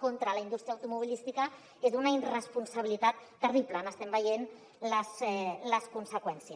contra la indústria automobilística és d’una irresponsabilitat terrible n’estem veient les conseqüències